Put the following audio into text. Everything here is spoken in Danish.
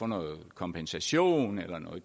noget kompensation eller